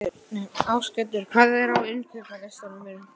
Ásgautur, hvað er á innkaupalistanum mínum?